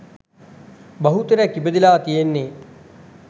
බහුතරයක් ඉපදීලා තියෙන්නේ